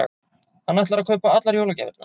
Hann ætlar að kaupa allar jólagjafirnar.